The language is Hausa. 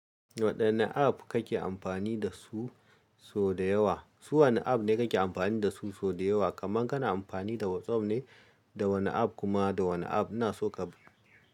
Waɗanne app kake amfani da su sau da yawa? Su wane app ne kake amfani da su sau da yawa? Kaman kana amfani da WhatsApp ne, da wane app kuma da wane app na so ka.